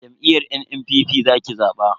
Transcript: Jam'iyyar NNPP za ki zaba.